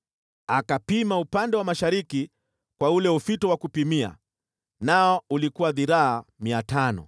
Akapima upande wa mashariki kwa ule ufito wa kupimia, nao ulikuwa dhiraa 500